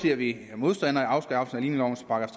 er vi modstandere af afskaffelsen